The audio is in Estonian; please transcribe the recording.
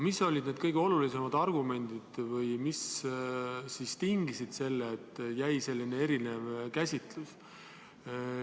Mis olid need kõige olulisemad argumendid või mis tingis selle, et jäi selline erinev käsitlus?